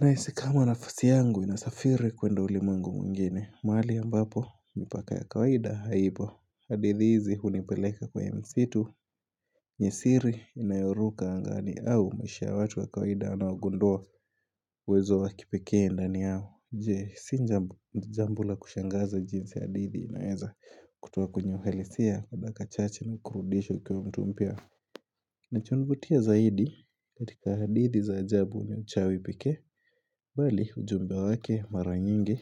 na isi kama nafasi yangu inasafiri kwenda ulimwengu mwngine mali ambapo, mipaka ya kawaida haipo hadithi hizi hunipeleka kwa misitu jasiri inayoruka angani au mwisho watu wa kawaida anawagundua uwezo wakipekee ndani yao Je si jambo la kushangaza jinsi hadithi inaeza kutoa kwenye uhalisia dakika mchache chache na kurudisha ukiwa mtu mpya nacho vutia zaidi katika hadithi za ajabu ni uchawi pekee bali ujumbe wake mara nyingi